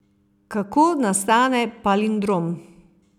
Kako nastane palindrom?